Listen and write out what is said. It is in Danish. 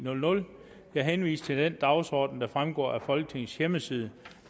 jeg henviser til den dagsorden der fremgår af folketingets hjemmeside